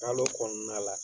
Kalo kɔɔna la